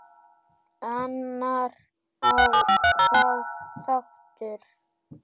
Annar þáttur